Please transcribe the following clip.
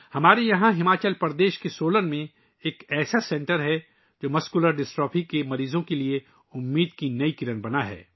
ہماچل پردیش کے سولن میں ہمارا ایسا مرکز ہے، جو مسکولر ڈسٹرافی کے مریضوں کے لئے امید کی نئی کرن بن گیا ہے